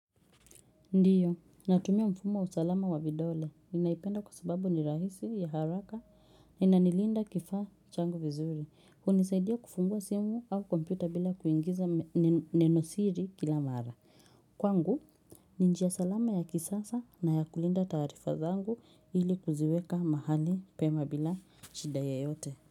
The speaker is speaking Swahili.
Ndiyo natumia mfumo wa usalama wa vidole ninaipenda kwa sababu ni rahisi, ya haraka inanilinda kifaa changu vizuri. Hunisaidia kufungua simu au kompyuta bila kuingiza nenosiri kila mara. Kwangu ni njia salama ya kisasa na ya kulinda taarifa zangu ili kuziweka mahali pema bila shida yoyote.